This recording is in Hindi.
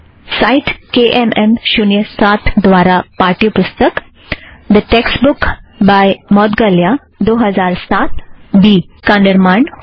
साइट केएमएम शुन्य साथ द्वारा पाठ्यपुस्तक the text book by Moudgalya दो हज़ार साथ बी का निर्माण होता है